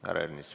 Härra Ernits.